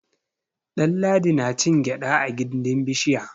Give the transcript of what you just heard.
Ɗanladi na cin gyaɗa a gindin bishiya.